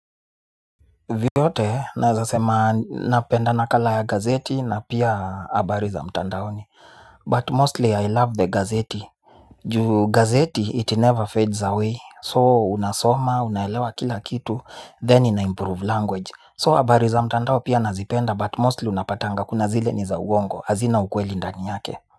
Vyote nawezasema napenda nakala ya gazeti na pia habari za mtandaoni. But mostly I love the gazeti. Juu gazeti it never fades away so unasoma unaelewa kila kitu then inaimprove language. So habari za mtandao pia nazipenda but mostly unapatanga kuna zile ni za uongo hazina ukweli ndani yake.